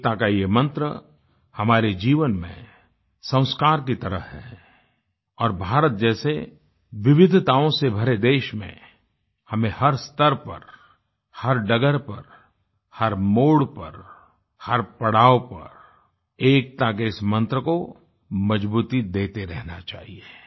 एकता का ये मंत्र हमारे जीवन में संस्कार की तरह है और भारत जैसे विविधताओं से भरे देश में हमें हर स्तर पर हर डगर पर हर मोड़ पर हर पड़ाव पर एकता के इस मंत्र को मज़बूती देते रहना चाहिए